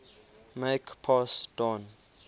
make pass don